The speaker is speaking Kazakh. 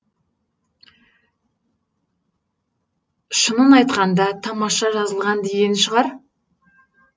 шынын айтқанда тамаша жазылған деген шығар